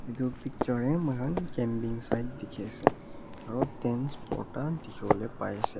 etu picture teh moikhan campaign sign dikhi ase aru tents bhorta dikhi bole pai ase.